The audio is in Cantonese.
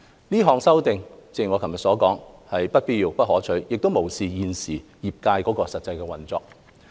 有關修正案是不必要和不可取的，亦無視現時行業的實際運作。